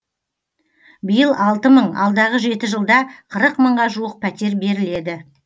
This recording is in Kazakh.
биыл алты мың алдағы жеті жылда қырық мыңға жуық пәтер беріледі